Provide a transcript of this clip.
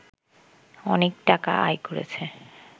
অনেক টাকা আয় করছে